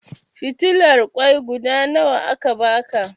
Fitilar ƙoi guda nawa aka baka?